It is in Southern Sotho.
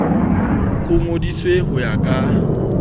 o ngodiswe ho ya ka